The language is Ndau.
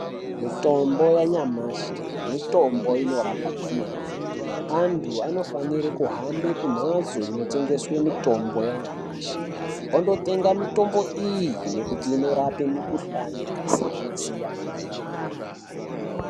Mitombo yanyamashi mitombo inorapa kwemene antu anofanire kuhambe kumhatso inotengeswe mitombo yanyamashi ondotenga mitombo iyi nekuti inorape mikuhlani yakasiyana siyana.